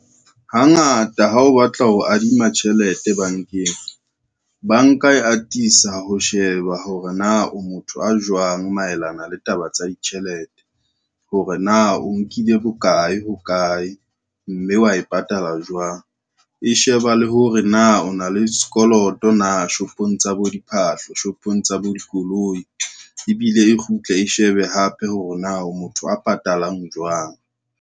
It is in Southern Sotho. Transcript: Hangata ha o batla ho adima tjhelete bankeng, banka e atisa ho sheba hore na o motho a jwang maelana le taba tsa ditjhelete, hore na o nkile bokae hokae, mme wa e patala jwang. E sheba le hore na o na le sekoloto na shopong tsa bo diphahlo, shopong tsa bo dikoloi, ebile e kgutle e shebe hape hore na o motho a patalang jwang.